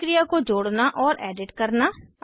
एक अभिक्रिया को जोड़ना और एडिट करना